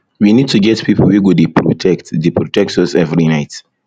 we need to get people wey go dey protect dey protect us every night